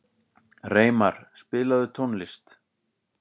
Reimar, spilaðu tónlist.